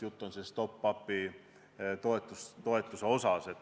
Jutt on top-up'ist.